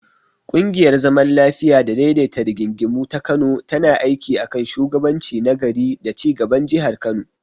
Ƙungiyar zaman lafiya da daidaita rigingimu ta Kano tana aiki a kan shugabanci na gari da ci gaban Jihar Kano.